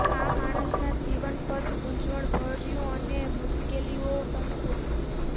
આ માણસ ના જીવન પથ ગૂંચવણભર્યું અને મુશ્કેલીઓ સંપૂર્ણ